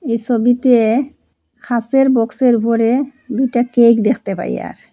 এ সবিতে খাঁচের বক্সের উফরে দুইটা কেক দেখতে পাই য়ার।